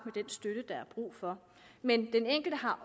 den støtte der er brug for men den enkelte har